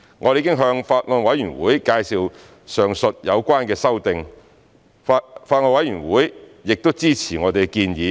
我們已向法案委員會介紹上述有關的修訂，法案委員會亦支持我們的建議。